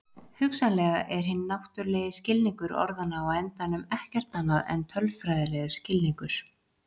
Hugsanlega er hinn náttúrulegi skilningur orðanna á endanum ekkert annað en tölfræðilegur skilningur.